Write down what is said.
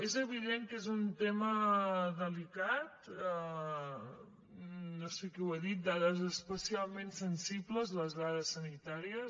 és evident que és un tema delicat no sé qui ho ha dit dades especialment sensibles les dades sanitàries